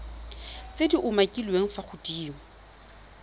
tse di umakiliweng fa godimo